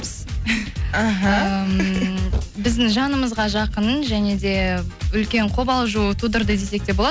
іхі ммм біздің жанымызға жақын және де үлкен қобалжу тудырды десек те болады